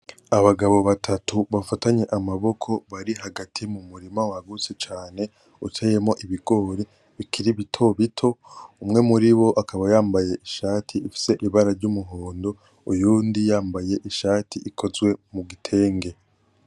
Abagabo batatu bafatanye amaboko bari hagati y'umurima wagutse cane uteyemwo ibigori bikiri bito bito, umwe muri bo akaba yambaye ishati ifise ibara ry’umuhondo, uyundi akaba yambaye ishati ikozwe mugitenge.